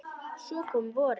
Svo kom vorið.